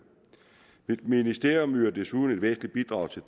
mit ministerium yder desuden et væsentligt bidrag til